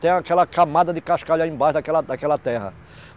Tem aquela camada de cascalho aí embaixo daquela daquela terra.